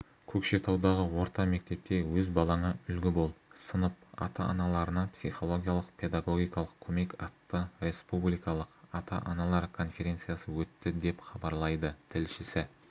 көкшетаудағы орта мектепте өз балаңа үлгі бол сынып ата-аналарына психологиялық-педагогикалық көмек атты республикалық ата-аналар конференциясы өтті деп хабарлайды тілшісі